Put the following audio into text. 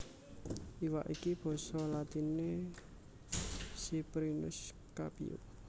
Iwak iki basa latiné Ciprinus Capio